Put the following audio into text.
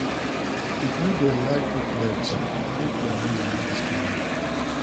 If you dey like cook late, make di aroma no disturb me.